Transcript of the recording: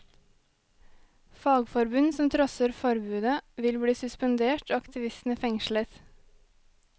Fagforbund som trosser forbudet vil bli suspendert og aktivistene fengslet.